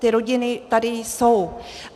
Ty rodiny tady jsou.